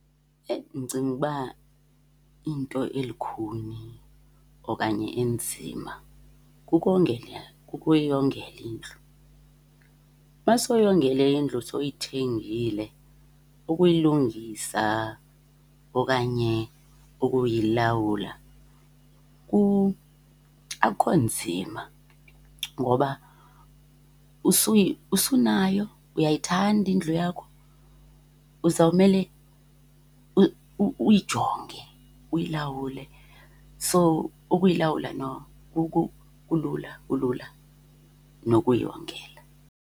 Ndicinga uba into elukhuni okanye enzima kukongela, kukuyongela indlu. Uba sowuyongele indlu sowuyithengile, ukuyilungisa okanye ukuyilawula akukho nzima ngoba usunayo. Uyayithanda indlu yakho uzawumele uyijonge, uyilawule. So ukuyilawula no kulula, kulula kunokuyongela.